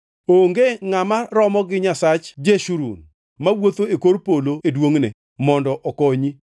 “Onge ngʼama romo gi Nyasach Jeshurun, mawuotho e kor polo e duongʼne, mondo okonyi.